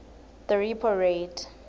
the repo rate